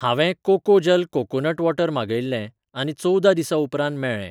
हांवें कोकोजल coconut water मागयिल्लें आनी चवदा दिसां उपरांत मेळ्ळें.